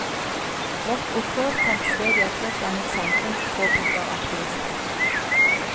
Vårt opprør fant sted i et helt annet samfunn, påpeker aktivisten.